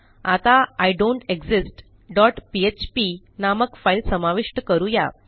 आता I don't exist dot PHP नामक फाईल समाविष्ट करू या